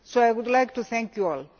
So I would like to thank you all.